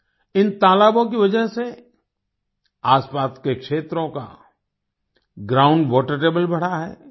इन तालाबों की वजह से आसपास के क्षेत्रों का ग्राउंड वाटर टेबल बढ़ा है